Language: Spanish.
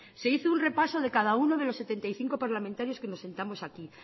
se hizo un repaso de cada uno de los setenta y cinco parlamentarios que nos sentamos aquí